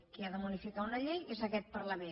qui ha de modificar una llei és aquest parlament